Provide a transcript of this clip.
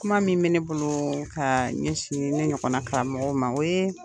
Kuma min be ne bolo ka ɲɛsin ne ɲɔgɔn na karamɔgɔw ma , o ye